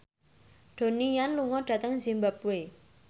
Donnie Yan lunga dhateng zimbabwe